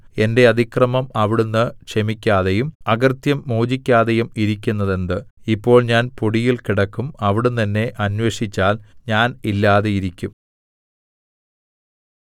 എന്റെ അതിക്രമം അവിടുന്ന് ക്ഷമിക്കാതെയും അകൃത്യം മോചിക്കാതെയും ഇരിക്കുന്നതെന്ത് ഇപ്പോൾ ഞാൻ പൊടിയിൽ കിടക്കും അവിടുന്ന് എന്നെ അന്വേഷിച്ചാൽ ഞാൻ ഇല്ലാതിരിക്കും